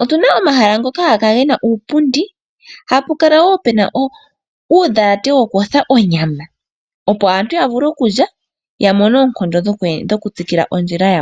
Otuna omahala ngoka haga kala gena uupundi hapu kala wo pena uundhalate wokuyotha onyama opo aantu yavule oku lya yamone oonkondo dhoku tsikila ondjila yawo.